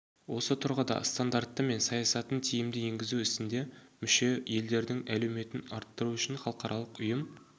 осы тұрғыда стандарттары мен саясатын тиімді енгізу ісінде мүше елдердің әлеуетін арттыру үшін халықаралық ұйым